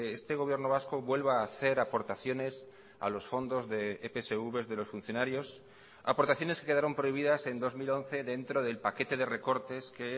este gobierno vasco vuelva a hacer aportaciones a los fondos de epsv de los funcionarios aportaciones que quedaron prohibidas en dos mil once dentro del paquete de recortes que